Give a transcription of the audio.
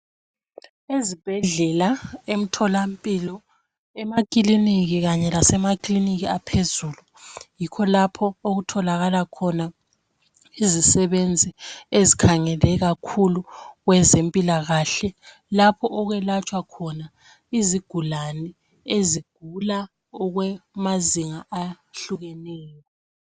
Ezibhedlela, emtholampilo, emakiliniki kanye lasema clinic aphezulu yikho lapho okutholakala khona izisebenzi ezikhangele kakhulu kwezempilakahle lapho okwelatshwa khona izigulane ezigula okwe mazinga ahlukeneyo.